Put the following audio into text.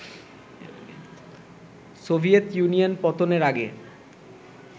Soviet Union পতনের আগে